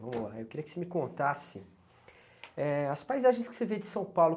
Vamos lá. Eu queria que você me contasse éh as paisagens que você vê de São Paulo.